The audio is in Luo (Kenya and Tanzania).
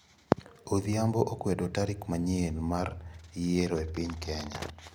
Odhiambo okwedo tarik manyien mar yiero e piny Kenya.